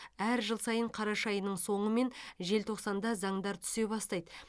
әр жыл сайын қараша айының соңы мен желтоқсанда заңдар түсе бастайды